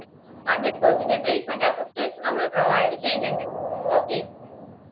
hundred percentage placement assistance നമ്മള് provide ചെയ്യുന്നുണ്ട് okay